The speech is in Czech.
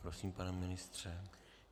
Prosím, pane ministře.